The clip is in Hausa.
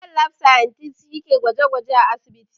Medical lab scientist' shi ke gwaje gwajen a asibiti